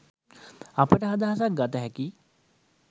අපට අදහසක් ගත හැකියි.